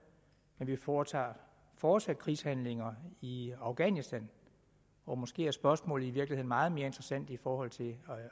men vi foretager fortsat krigshandlinger i afghanistan og måske er spørgsmålet i virkeligheden meget mere interessant i forhold til